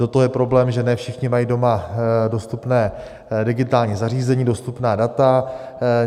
Do toho je problém, že ne všichni mají doma dostupné digitální zařízení, dostupná data.